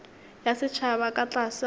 ya setšhaba ka tlase ga